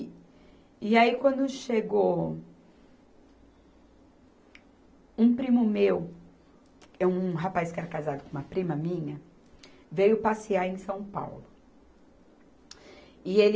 E aí quando chegou um primo meu, um rapaz que era casado com uma prima minha, veio passear em São Paulo.